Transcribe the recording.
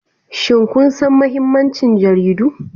Shin kun san mahimmancin jaridu?